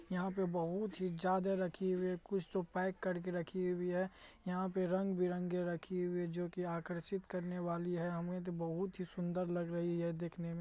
यहाँ पे बहुत ही ज्यादा रखी हुई कुछ तो पैक करके रखी हुई है यहाँ पे रंग-बिरंगे रखी हुई है जो की आकर्षित करने वाली है हमें तो बहुत ही सुन्दर लग रही है देखने में---